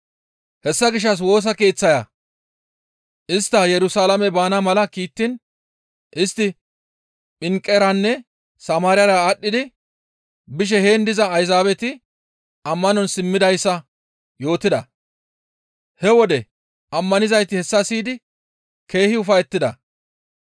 Hessa gishshas Woosa Keeththaya istta Yerusalaame baana mala kiittiin istti Pinqeranne Samaariyara aadhdhi bishe heen diza Ayzaabeti ammanon simmidayssa yootida; he wode ammanizayti hessa siyidi keehi ufayettida.